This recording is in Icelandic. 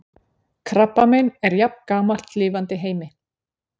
krabbamein er jafngamalt lifandi heimi